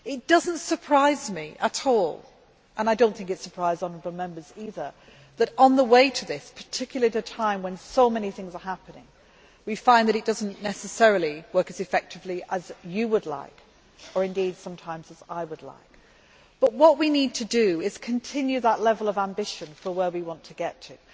It does not surprise me at all, and I do not think it surprised honourable Members either, that on the way to this, particularly at a time when so many things are happening, we find that it does not necessarily work as effectively as you would like, or indeed sometimes as I would like. What we need to do is continue that level of ambition for where we want to get to.